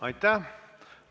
Aitäh!